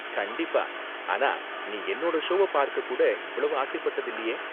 கண்டிப்பா, ஆனா நீ என்னோட ஷோவ பார்க்க கூட இவ்ளோ ஆசைப்பட்டது இல்லயே